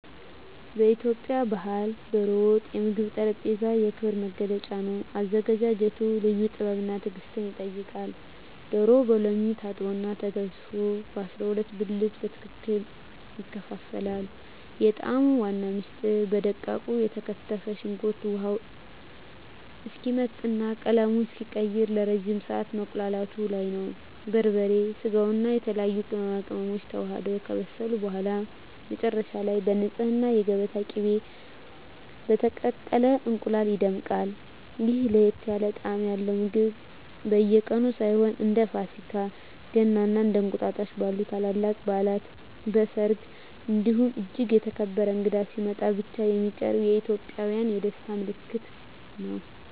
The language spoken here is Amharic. በኢትዮጵያ ባሕል "ዶሮ ወጥ" የምግብ ጠረጴዛ የክብር መገለጫ ነው። አዘገጃጀቱ ልዩ ጥበብና ትዕግስት ይጠይቃል፤ ዶሮው በሎሚ ታጥቦና ተዘፍዝፎ በ12 ብልት በትክክል ይከፋፈላል። የጣዕሙ ዋና ምስጢር በደቃቁ የተከተፈ ሽንኩርት ውሃው እስኪመጥና ቀለሙን እስኪቀይር ለረጅም ሰዓት መቁላላቱ ላይ ነው። በርበሬ፣ ስጋውና የተለያዩ ቅመማ ቅመሞች ተዋህደው ከበሰሉ በኋላ፣ መጨረሻ ላይ በንፁህ የገበታ ቅቤና በተቀቀለ እንቁላል ይደምቃል። ይህ ለየት ያለ ጣዕም ያለው ምግብ በየቀኑ ሳይሆን፣ እንደ ፋሲካ፣ ገና እና እንቁጣጣሽ ባሉ ታላላቅ በዓላት፣ በሰርግ እንዲሁም እጅግ የተከበረ እንግዳ ሲመጣ ብቻ የሚቀርብ የኢትዮጵያውያን የደስታ ምልክት ነው።